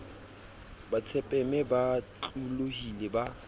ba tsepame ba otlolohile ba